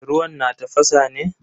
Ruwan na tafasa ne?